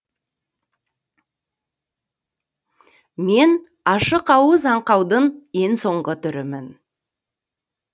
мен ашықауыз аңқаудың ең соңғы түрімін